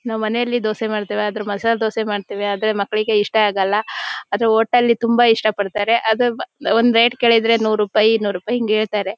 ನಮ್ಮನೆಲ್ಲಿ ದೋಸೆ ಮಾಡತವೇ ಆದ್ರೆ ಮಸಾಲ ದೋಸೆ ಮಾಡತೀವಿ ಆದ್ರೆ ಮಕ್ಕಳಿಗೆ ಇಷ್ಟ ಆಗಲ್ಲಾ ಆದ್ರೆ ಹೋಟೆಲ್ ನಲ್ಲಿ ತುಂಬಾ ಇಷ್ಟಪಡತ್ತಾರೆ ಅದ್ ಒಂದ್ ರೇಟ್ ಕೇಳುದ್ರೆ ನೂರು ರೂಪಾಯಿ ಇನ್ನೂರು ರೂಪಾಯಿ ಹಿಂಗೇ ಹೇಳ್ತ್ತಾರೆ.